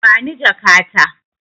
Bani jaka ta.